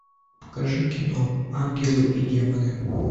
покажи кино ангелы и демоны